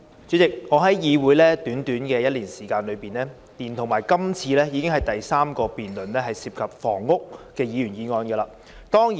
主席，我加入議會短短1年時間，連同今次，已經是第三個涉及房屋的議員議案。